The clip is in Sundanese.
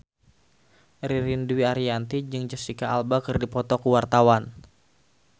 Ririn Dwi Ariyanti jeung Jesicca Alba keur dipoto ku wartawan